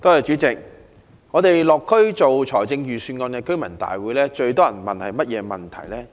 主席，當我們落區就財政預算案舉行居民大會時，市民最關注甚麼措施？